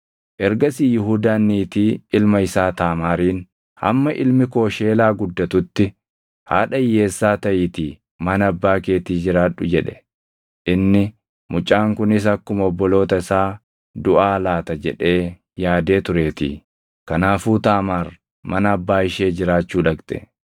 Ergasii Yihuudaan niitii ilma isaa Taamaariin, “Hamma ilmi koo Sheelaa guddatutti haadha hiyyeessaa taʼiitii mana abbaa keetii jiraadhu” jedhe. Inni, “Mucaan kunis akkuma obboloota isaa duʼaa laata” jedhee yaadee tureetii. Kanaafuu Taamaar mana abbaa ishee jiraachuu dhaqxe.